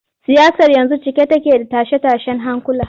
Siyasar yanzu cike take da tashe-tashen hankula.